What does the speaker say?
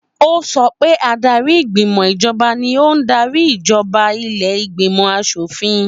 Ó sọ pé adarí ìgbìmò ìjọba ni ó ún darí ìjọba ilé ìgbìmò aṣòfin.